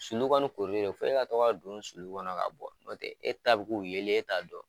Sulu kɔni korili de f'e ka to ka don sulu kɔnɔ ka bɔ nɔtɛ e ta bɛ k'u yeli ye e t'a dɔ.